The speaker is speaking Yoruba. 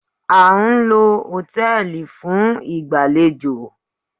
A ń lo hòtẹ́ẹ̀lì fún ìgbàlejò